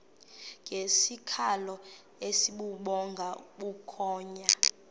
ngesikhalo esibubhonga bukhonya